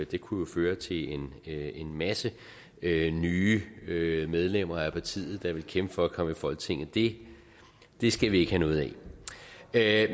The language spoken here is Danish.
det kunne jo føre til en en masse nye nye medlemmer af partiet der ville kæmpe for at komme i folketinget det det skal vi ikke have noget af